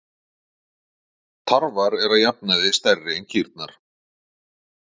Tarfar eru að jafnaði stærri en kýrnar.